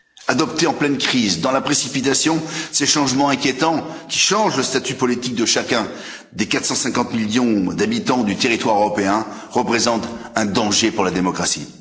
Adoptés en pleine crise, dans la précipitation, ces changements inquiétants, qui changent le statut politique de chacun, des 450 millions d'habitants du territoire européen, représentent un danger pour la démocratie.